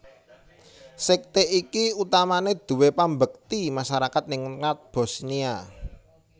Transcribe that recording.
Sekte iki utamane duwé pambekti masyarakat ningrat Bosniya